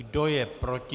Kdo je proti?